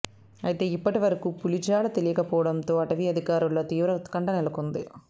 అయితే ఇప్పటి వరకు పులి జాడ తెలియకపోవడంతో అటవీ అధికారుల్లో తీవ్ర ఉత్కంఠ నెలకొంది